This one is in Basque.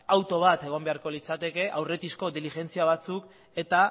auto bat egon beharko litzateke aurretizko diligentzia batzuk eta